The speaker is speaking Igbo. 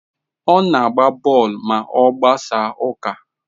Ọ na-agba bọọlụ ma ọ gbasaa ụka.